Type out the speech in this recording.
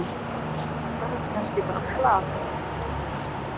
Var þetta kannski bara plat?